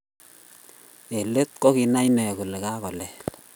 Eng leet, kokinay inne kolekagolel